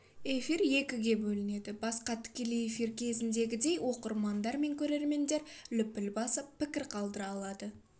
эфир екіге бөлінеді басқа тікелей эфир кезіндегідей оқырмандар мен көрермендер лүпіл басып пікір қалдыра алады